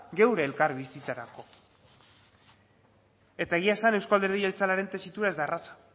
gure elkarbizitzarako eta egia esan euzko alderdi jeltzalearen tesitura ez da erraza